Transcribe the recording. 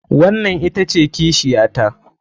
Wannan ita ce kishiyata.